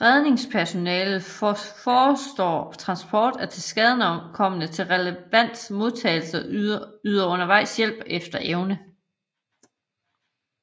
Redningspersonalet forestår transport af tilskadekomne til relevant modtagelse og yder undervejs hjælp efter evne